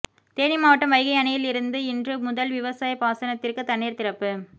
தேனி மாவட்டம் வைகை அணையில் இருந்து இன்று முதல் விவசாய பாசனத்திற்கு தண்ணீர் திறப்பு